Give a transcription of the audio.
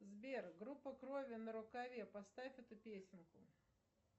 сбер группа крови на рукаве поставь эту песенку